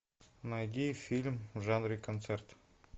найди фильм в жанре концерт